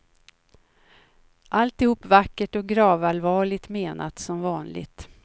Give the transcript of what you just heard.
Alltihop vackert och gravallvarligt menat som vanligt.